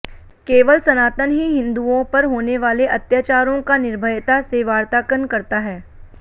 केवल सनातन ही हिन्दुओं पर होनेवाले अत्याचारों का निर्भयता से वार्तांकन करता है